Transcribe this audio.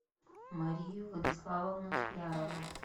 марию владиславовну склярову